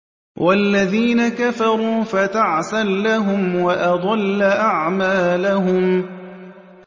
وَالَّذِينَ كَفَرُوا فَتَعْسًا لَّهُمْ وَأَضَلَّ أَعْمَالَهُمْ